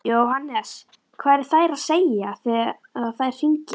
Jóhannes: Hvað eru þær að segja þegar þær hringja?